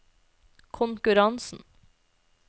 konkurransen